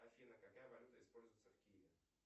афина какая валюта используется в киеве